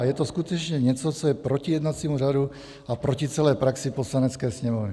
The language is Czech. A je to skutečně něco, co je proti jednacímu řádu a proti celé praxi Poslanecké sněmovny."